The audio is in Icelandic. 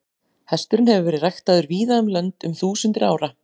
Hesturinn hefur verið ræktaður víða um lönd um þúsundir ára.